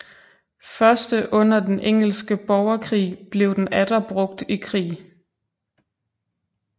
Første under den engelske borgerkrig blev den atter brugt i krig